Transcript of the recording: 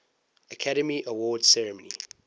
academy awards ceremony